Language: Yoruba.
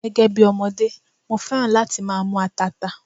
Gẹ́gẹ́ bí ọmọdé, mo féràn láti máa mú tata.